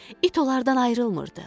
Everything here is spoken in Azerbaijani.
İt onlardan ayrılmırdı.